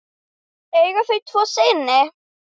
Eiga þau tvo syni.